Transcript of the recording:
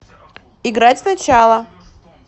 играть сначала